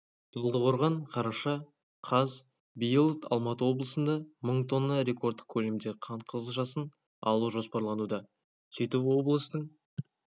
талдықорған қараша қаз биыл алматы облысында мың тонна рекордтық көлемде қант қызылшасын алу жоспарлануда сөйтіп облыстың